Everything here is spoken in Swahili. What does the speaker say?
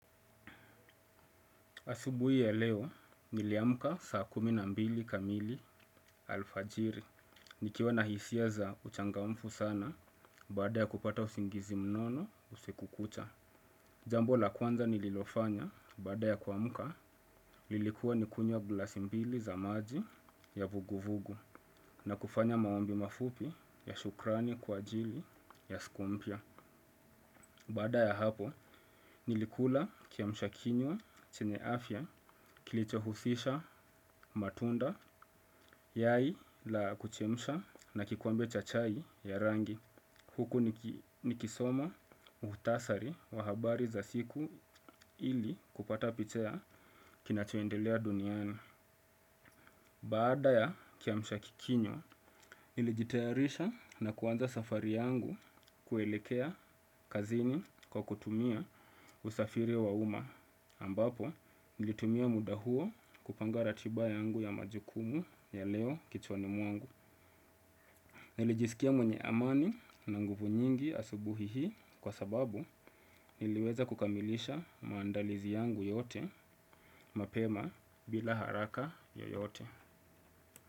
Asubuhi ya leo, niliamka saa kumi na mbili kamili alfajiri. Nikiwa na hisia za uchangamfu sana baada ya kupata usingizi mnono usiku kucha. Jambo la kwanza nililofanya baada ya kuamka lilikuwa nikunywe glasi mbili za maji ya vuguvugu. Na kufanya maombi mafupi ya shukrani kwa ajili ya siku mpya. Baada ya hapo nilikula kiamshakinywa chene afya kilichohusisha matunda yai la kuchemsha na kikombe cha chai ya rangi. Huku nikisoma mukhtasari wa habari za siku ili kupata picha ya kinacho endelea duniani. Baada ya kiamshakikinywa nilijitayarisha na kuanza safari yangu kuelekea kazini kwa kutumia usafiri wa uma. Ambapo nilitumia muda huo kupanga ratiba yangu ya majukumu ya leo kichwani mwangu. Nilijiskia mwenye amani na nguvu nyingi asubuhi hii kwa sababu niliweza kukamilisha maandalizi yangu yote mapema bila haraka yoyote.